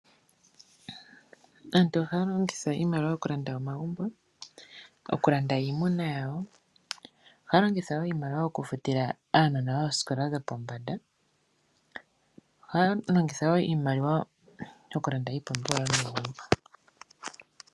Aantu ohaya longitha iimaliwa okulanda omagumbo, okulanda iimuna yawo. Ohaya longitha wo iimaliwa okufutila aanona oosikola dhopombanda. Ohaya longitha wo iimaliwa okulanda iipumbiwa yomegumbo.